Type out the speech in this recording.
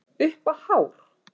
Upp á hár